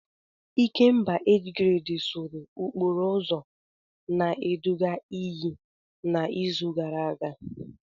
Ikemba age grade sụrụ okporo ụzọ na-eduga iyi n'izu gara aga.